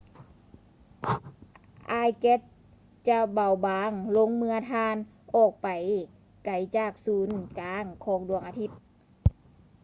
ອາຍແກັສຈະເບົາບາງລົງເມື່ອທ່ານອອກໄປໄກຈາກສູນກາງຂອງດວງອາທິດ